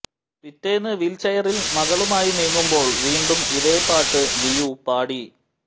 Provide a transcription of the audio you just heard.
പിറ്റേന്ന് വീൽച്ചെയറിൽ മകളുമായി നീങ്ങുമ്പോൾ വീണ്ടും ഇതേ പാട്ട് ലിയു പാടി